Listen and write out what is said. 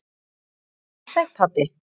Var hún óþæg, pabbi?